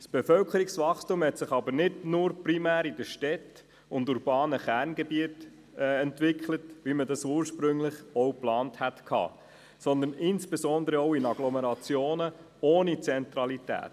Das Bevölkerungswachstum hat sich nicht nur primär in den Städten und urbanen Kerngebieten entwickelt, wie man das ursprünglich geplant hatte, sondern insbesondere auch in Agglomerationen ohne Zentralität.